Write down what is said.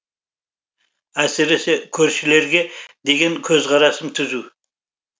әсіресе көршілерге деген көзқарасым түзу